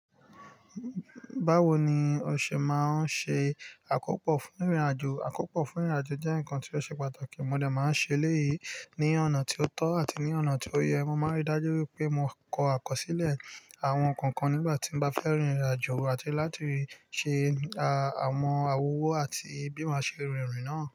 Báwo ni o ṣe máa ń ṣe àkópò fún ìrìnàjò? Àkópò fún ìrìnàjò jẹ́ ǹkan tí ó ṣe pàtàkì. Mo dẹ máa ń ṣe eléyìí ní ọ̀nà tí ó tọ́ àti ní ọ̀nà tí ó yẹ. Mo máa ń rí dájú wipé mo kọ àkọsílẹ̀ àwọn ǹkankan nígbà tí n bá fẹ́ rin ìrìnàjò àti láti ṣe à mọ́ àwọn owó àti bí mo ṣe rìn ìrìn náà.